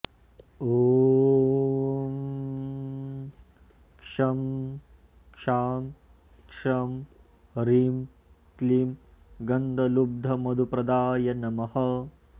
ॐ शं शां षं ह्रीं क्लीं गन्धलुब्धमधुप्रदाय नमः